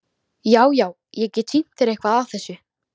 Já, já- ég get sýnt þér eitthvað af þessu.